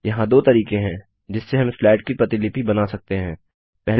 यहाँ दो तरीके है जिससे हम स्लाइड की प्रतिलिपि डुप्लिकेट बना सकते हैं